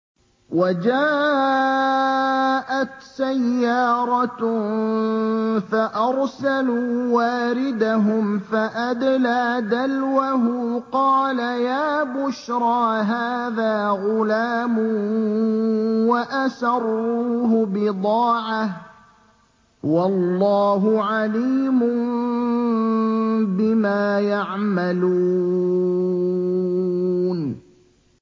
وَجَاءَتْ سَيَّارَةٌ فَأَرْسَلُوا وَارِدَهُمْ فَأَدْلَىٰ دَلْوَهُ ۖ قَالَ يَا بُشْرَىٰ هَٰذَا غُلَامٌ ۚ وَأَسَرُّوهُ بِضَاعَةً ۚ وَاللَّهُ عَلِيمٌ بِمَا يَعْمَلُونَ